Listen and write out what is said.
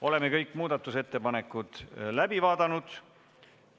Oleme kõik muudatusettepanekud läbi vaadanud.